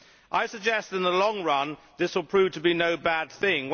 I suggest that, in the long run, this will prove to be no bad thing.